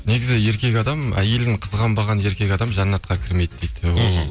негізі еркек адам әйелін қызғанбаған еркек адам жәннатқа кірмейді дейді ол